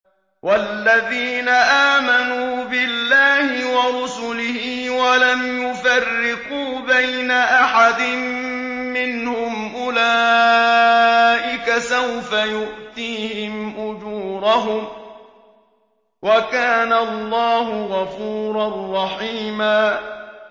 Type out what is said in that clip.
وَالَّذِينَ آمَنُوا بِاللَّهِ وَرُسُلِهِ وَلَمْ يُفَرِّقُوا بَيْنَ أَحَدٍ مِّنْهُمْ أُولَٰئِكَ سَوْفَ يُؤْتِيهِمْ أُجُورَهُمْ ۗ وَكَانَ اللَّهُ غَفُورًا رَّحِيمًا